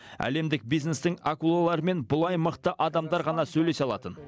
әлемдік бизнестің акулаларымен бұлай мықты адамдар ғана сөйлесе алатын